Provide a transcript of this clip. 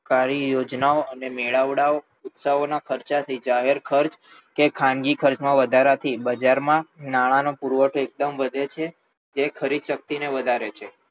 કારી યોજનાઓ અને મેળાવડાઓ ઉત્સવોના ખર્ચાથી જાહેરખર્ચ કે ખાનગી ખર્ચમાં વધારાથી બજારમાં નાણાંનો પુરવઠો એકદમ વધે છે જે ખરીદશક્તિને વધારે છે